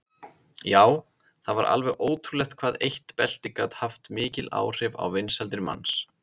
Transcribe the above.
Já, það var alveg ótrúlegt hvað eitt belti gat haft mikil áhrif á vinsældir manns.